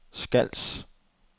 Skals